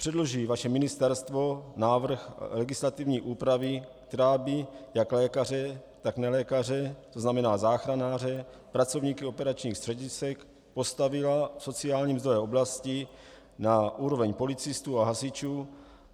Předloží vaše ministerstvo návrh legislativní úpravy, která by jak lékaře, tak nelékaře, to znamená záchranáře, pracovníky operačních středisek postavila v sociální mzdové oblasti na úroveň policistů a hasičů?